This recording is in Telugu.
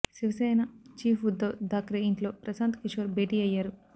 శివసేన ఛీఫ్ ఉద్ధవ్ థాక్రే ఇంట్లో ప్రశాంత్ కిషోర్ భేటీ అయ్యారు